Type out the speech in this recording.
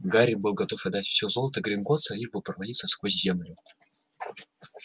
гарри был готов отдать все золото гринготтса лишь бы провалиться сквозь землю